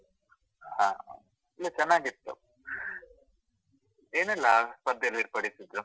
ಹಾ ಹಾ, ಇಲ್ಲ ಚೆನ್ನಾಗಿತ್ತು. ಏನೆಲ್ಲಾ ಸ್ಪರ್ಧೆಯೆಲ್ಲ ಏರ್ಪಡಿಸಿದ್ರು?